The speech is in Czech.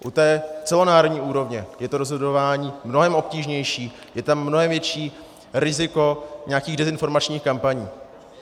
U té celonárodní úrovně je to rozhodování mnohem obtížnější, je tam mnohem větší riziko nějakých dezinformačních kampaní.